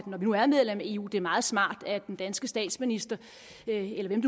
når vi nu er medlem af eu at det er meget smart at den danske statsminister eller hvem